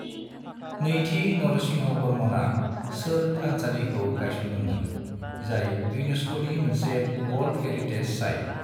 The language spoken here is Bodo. नैथि नरसिंहवर्मनआ शोर थानसालिखौ गायसनदों मोन, जाय यूनेस्कोनि मोनसे वर्ल्द हेरिटेज साइत।